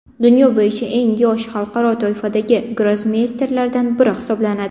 Dunyo bo‘yicha eng yosh xalqaro toifadagi grossmeysterlardan biri hisoblanadi.